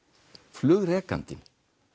flugrekandinn